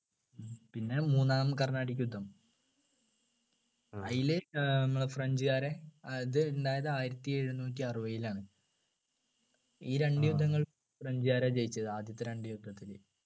പിന്നെ മൂന്നാം കർണാടിക് യുദ്ധം അയില് ഏർ നമ്മളെ french കാരെ അത് ഉണ്ടായത് ആയിരത്തി എഴുന്നൂറ്റി അറുപയിലാണ് ഈ രണ്ടു യുദ്ധങ്ങൾ french കാരാ ജയിച്ചത് ആദ്യത്തെ രണ്ടു യുദ്ധത്തിൽ